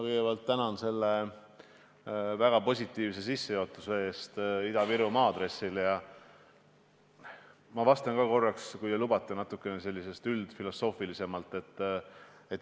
Kõigepealt ma tänan teid selle väga positiivse sissejuhatuse eest Ida-Virumaa aadressil ja ma vastan, kui te lubate, alustuseks natuke üldfilosoofiliselt.